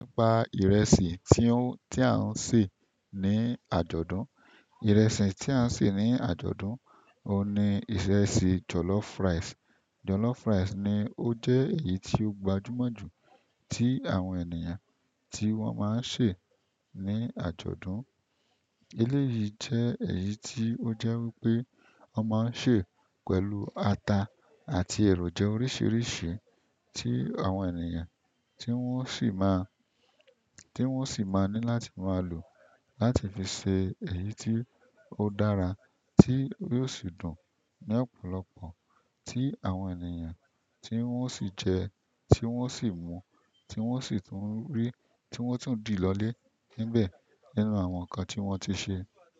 Pa ìrẹsì tí ó, tí à ń sè ní àjọ̀dún. Ìrẹsì tí à ń sè ní àjọ̀dún, òun ni ìrẹsì jollof rice. Jollof rice ni ó jẹ́ èyí tí ó gbajúmọ̀ jù tí àwọn ènìyàn tí wọ́n máa ń ṣè ní àjọ̀dún. Eléyìí jẹ́ èyí tí ó jẹ́ wípé wọ́n máa ń sè pẹ̀lú ata àti èròjà oríṣiríṣi tí àwọn ènìyàn tí wọ́n sì máa, tí wọ́n sì máa ní láti máa lò láti fi ṣe èyí tí ó dára tí yóò sì dùn ní ọ̀pọ̀lọpọ̀ tí àwọn ènìyàn tí wọ́n sì jẹ, tí wọ́n sì mú, tí wọ́n sì tún rí, tí wọ́n sì tún dì lọlé níbẹ̀ nínú àwọn nǹkan tí wọ́n ti ṣe.